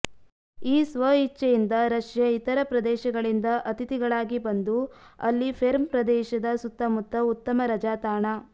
ಈ ಸ್ವಇಚ್ಛೆಯಿಂದ ರಷ್ಯಾ ಇತರ ಪ್ರದೇಶಗಳಿಂದ ಅತಿಥಿಗಳಾಗಿ ಬಂದು ಅಲ್ಲಿ ಪೆರ್ಮ್ ಪ್ರದೇಶದ ಸುತ್ತಮುತ್ತ ಉತ್ತಮ ರಜಾ ತಾಣ